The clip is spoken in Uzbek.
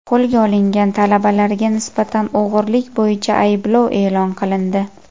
Qo‘lga olingan talabalarga nisbatan o‘g‘rilik bo‘yicha ayblov e’lon qilindi.